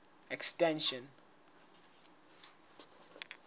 extension